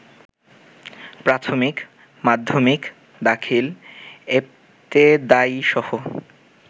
প্রাথমিক, মাধ্যমিক, দাখিল, এবতেদায়ীসহ